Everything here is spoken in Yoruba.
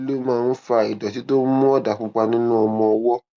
kí ló máa ń fa ìdòtí tó ń mú òdà pupa nínú ọmọ ọwó